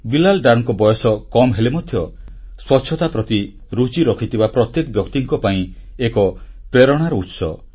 ବିଲାଲ୍ ଡର ବୟସ କମ୍ ହେଲେ ମଧ୍ୟ ସ୍ୱଚ୍ଛତା ପ୍ରତି ରୁଚି ରଖିଥିବା ପ୍ରତ୍ୟେକ ବ୍ୟକ୍ତିଙ୍କ ପାଇଁ ପ୍ରେରଣାର ଉତ୍ସ